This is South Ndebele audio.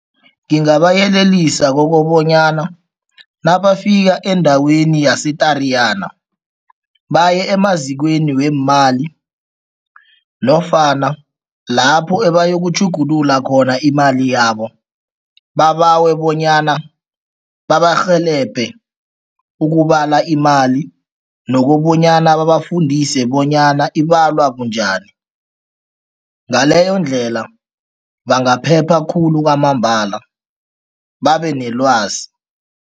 Ngingabayelelisa kokobanyana nabafika endaweni yase-Tariyana, baye emazikweni weemali nofana lapho ebayokutjhugulula khona imali yabo, babawe bonyana babarhelebhe ukubala imali nokobanyana babafundise bonyana ibalwa bunjani. Ngaleyondlela, bangaphepha khulu kwamambala, babenelwazi.